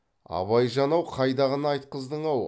абайжан ау қайдағыны айтқыздың ау